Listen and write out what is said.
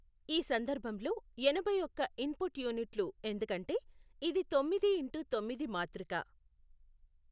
ఈ సందర్భంలో ఎనభై ఒక్క ఇన్ పుట్ యూనిట్లు ఎందుకంటే ఇది తొమ్మిది ఇంటు తొమ్మిది మాతృక.